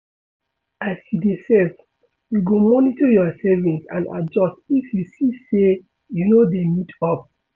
As you dey save, you go monitor your savings and adjust if you see sey you no dey meet up